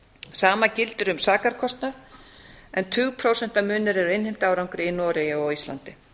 sama gildir um sakarkostnað en tugprósentamunur er á innheimtuárangri í noregi og á íslandi